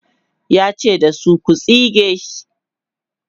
yace da su,"ku tsige sh!"